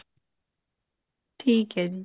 ਠੀਕ ਹੈ ਜੀ